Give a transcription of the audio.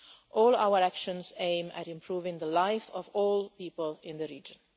All our actions aim at improving the life of all people in the region.